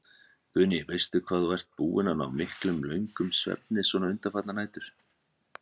Guðný: Veistu hvað þú ert búinn að ná miklum, löngum svefni svona undanfarnar nætur?